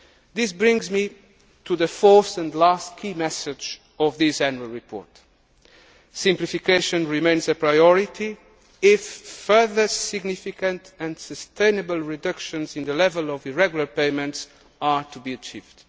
systems. This brings me to the fourth and last key message of this Annual Report. Simplification remains a priority if further significant and sustainable reductions in the level of irregular payments are to be